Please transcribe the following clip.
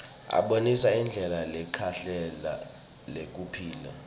abonisa indlela lekahle yekuphila